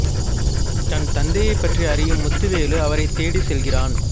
தன் தந்தையைப் பற்றி அறியும் முத்துவேலு அவரைத் தேடிச் செல்கிறான்